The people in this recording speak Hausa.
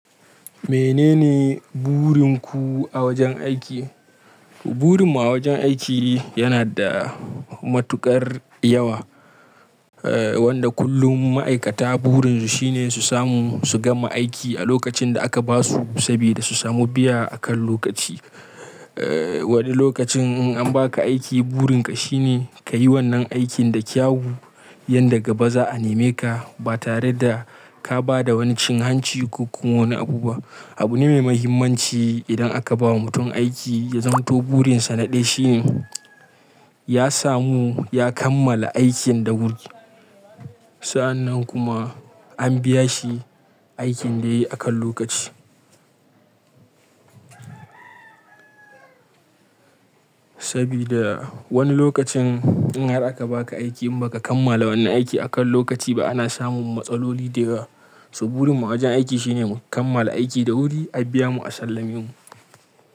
Menene burinku a wajen aiki? Burin mu a wajen aiki yana da matuƙar yawa, eh wanda kullum ma'aikata burin su shine su samu su gama aiki a lokacin da aka ba su sabida su samu biya akan lokaci. Eh wani lokacin in an ba ka aiki burin ka shine ka yi wannan aikin da kyau, yan daga ba za a neme ka ba tare da ka ba da wani cin hanci ko wani abu ba. Abu ne mai mahimmanci idan aka ba wa mutum aiki ya zanto burin sa na ɗaya shine ya samu ya kammala aikin da wuri. Sa'annan kuma an biya shi aikin da yayi akan lokaci. Sabifa wani lokacin in har aka ba ka aiki in ba ka kammala wannan aiki akan lokaci ba ana samun matsaloli dayawa. So burin mu a wajen aiki shine mu kammala aiki da wuri, a biya mu, a sallame mu.